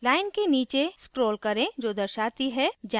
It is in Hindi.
line के लिए नीचे scroll करें जो दर्शाती है generated code